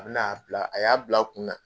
A bin'a bila a y'a bila a kunna